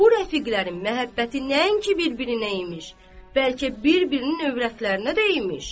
Bu rəfiqlərin məhəbbəti nəinki bir-birinə imiş, bəlkə bir-birinin övrətlərinə də imiş.